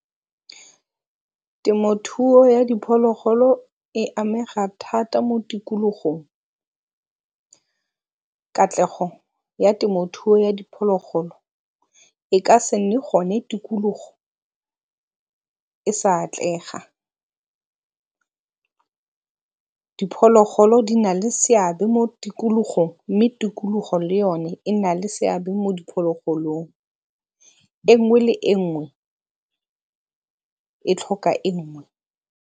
Temothuo ya diphologolo e amega thata mo tikologong. Katlego ya temothuo ya diphologolo e ka se nne gone tikologo e sa atlega. Diphologolo di na le seabe mo tikologong mme tikologo le yone e na le seabe mo diphologolong, e nngwe le e nngwe e tlhoka e nngwe.